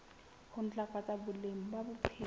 ho ntlafatsa boleng ba bophelo